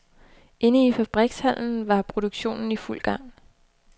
Inde i fabrikshallen var produktionen i fuld gang.